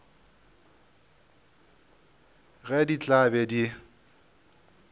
ge di tla be di